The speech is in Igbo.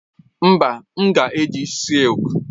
Mba, m ga-eji silk.